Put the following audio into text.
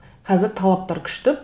қазір талаптар күшті